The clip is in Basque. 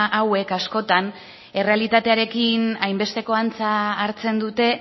hauek askotan errealitatearekin hainbesteko antza hartzen dute